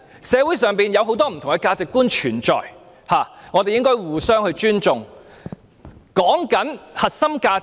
社會上存在很多不同的價值觀，我們應該互相尊重。